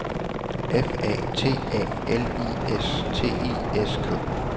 F A T A L I S T I S K